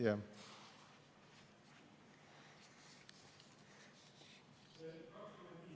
Jah.